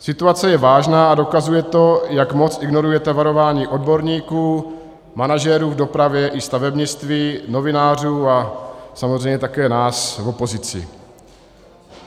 Situace je vážná a dokazuje to, jak moc ignorujete varování odborníků, manažerů v dopravě i stavebnictví, novinářů a samozřejmě také nás v opozici.